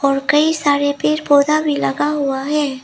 और कई सारे पेड़ पौधा भी लगा हुआ हैं।